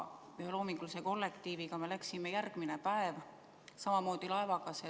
Loomingulise kollektiiviga me läksime järgmisel päeval samamoodi laevaga merele.